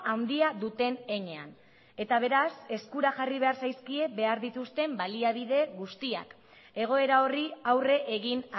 handia duen heinean eta beraz eskura jarri behar zaizkie baliabide guztiak egoera horri aurre egin